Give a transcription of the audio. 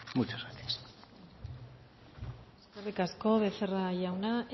muchas gracias eskerrik asko becerra jauna